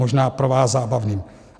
Možná pro vás zábavným.